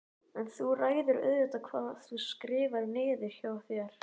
En þú ræður auðvitað hvað þú skrifar niður hjá þér.